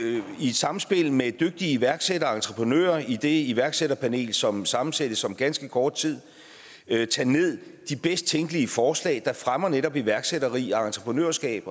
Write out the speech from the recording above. samspil med dygtige iværksættere og entreprenører i det iværksætterpanel som sammensættes om ganske kort tid tage de bedst tænkelige forslag der fremmer netop iværksætteri og entreprenørskab